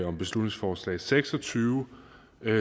om beslutningsforslag seks og tyve